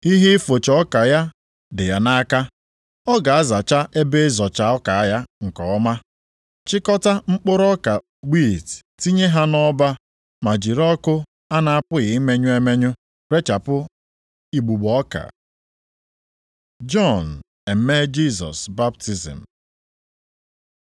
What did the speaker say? Ihe ịfụcha ọka ya dị ya nʼaka, ọ ga-azacha ebe ịzọcha ọka ya nke ọma, chịkọta mkpụrụ ọka wiiti tinye ha nʼọba, ma jiri ọkụ a na-apụghị imenyụ emenyụ rechapụ igbugbo ọka.” Jọn emee Jisọs baptizim